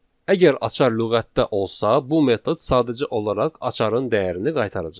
Əgər açar lüğətdə olsa, bu metod sadəcə olaraq açarın dəyərini qaytaracaq.